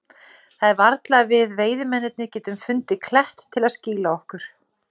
Það er varla að við veiðimennirnir getum fundið klett til að skýla okkur.